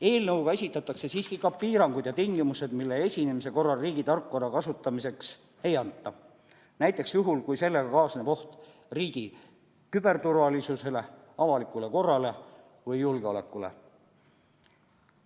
Eelnõuga esitatakse siiski ka piirangud ja tingimused, mille esinemise korral riigi tarkvara kasutamiseks ei anta, näiteks juhul, kui sellega kaasneb oht riigi küberturvalisusele, avalikule korrale või julgeolekule.